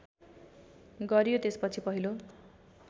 गरियो त्यसपछि पहिलो